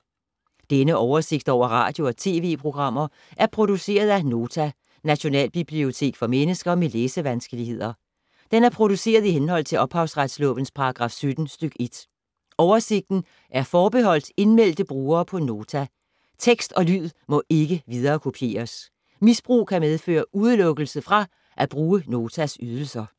Denne oversigt over radio og TV-programmer er produceret af Nota, Nationalbibliotek for mennesker med læsevanskeligheder. Den er produceret i henhold til ophavsretslovens paragraf 17 stk. 1. Oversigten er forbeholdt indmeldte brugere på Nota. Tekst og lyd må ikke viderekopieres. Misbrug kan medføre udelukkelse fra at bruge Notas ydelser.